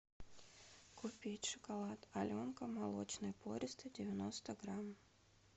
купить шоколад аленка молочный пористый девяносто грамм